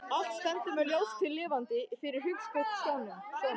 Allt stendur mér ljóslifandi fyrir hugskotssjónum.